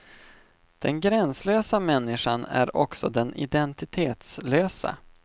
Den gränslösa människan är också den identitetslösa.